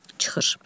Çıxır.